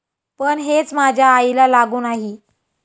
पण हेच माझ्या आईला लागू नाही.